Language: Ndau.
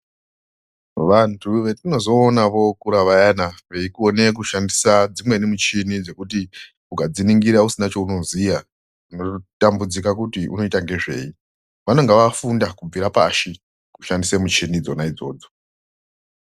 Vantu vetinozoona vookura vayana veikone kushandisa dzimweni muchini dzekuti ukadziningira usina chounoziya unototambudzika kuti unoita ngezvei. Vanenga vafunda kubva pashi kushandise muchina dzona idzodzo.